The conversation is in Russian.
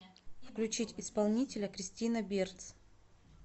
включить исполнителя кристина берц